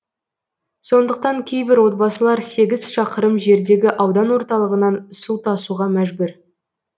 сондықтан кейбір отбасылар сегіз шақырым жердегі аудан орталығынан су тасуға мәжбүр